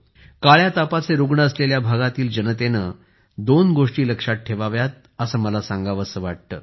काळ्या तापाचे रूग्ण असलेल्या भागातील जनतेने दोन गोष्टी लक्षात ठेवाव्यात असे मला सांगावेसे वाटते